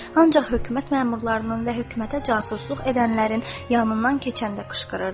Ancaq hökumət məmurlarının və hökumətə casusluq edənlərin yanından keçəndə qışqırırdı.